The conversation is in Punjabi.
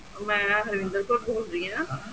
ਮੈਂ ਹਰਵਿੰਦਰ ਕੌਰ ਬੋਲਦੀ ਹਾਂ